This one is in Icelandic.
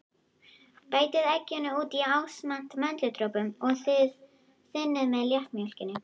Bætið egginu út í ásamt möndludropunum og þynnið með léttmjólkinni.